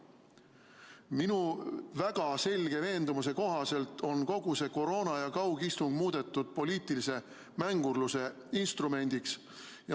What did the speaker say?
Minu väga selge veendumuse kohaselt on kogu see koroona ja kaugistung muudetud poliitilise mängurluse instrumendiks.